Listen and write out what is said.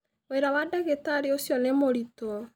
Wĩra wa ndagĩtarĩ ũcio nĩ mũritũ